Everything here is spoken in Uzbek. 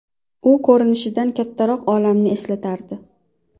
U ko‘rinishidan kattaroq olmani eslatardi.